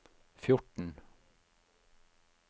fjorten